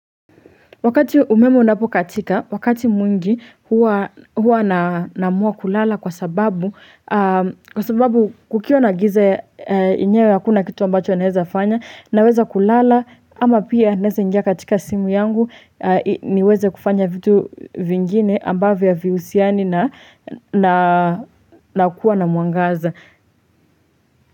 Wakati umeme unapo katika, wakati mwingi huwa naamuwa kulala kwa sababu kukiwa na giza yenyewe hakuna kitu ambacho naweza kufanya naweza kulala ama pia naweza ingia katika simu yangu niweze kufanya vitu vingine ambavyo havihusiani na nakuwa na mwangaza.